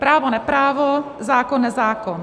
Právo neprávo, zákon nezákon.